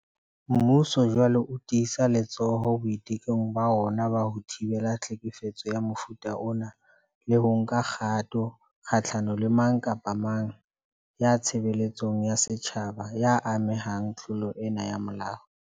Mmuso jwale o tiisa letsoho boitekong ba ona ba ho thibela tlhekefetso ya mofuta ona le ho nka kgato kgahlano le mang kapa mang ya tshebeletsong ya setjhaba ya amehang tlo long ena ya molao.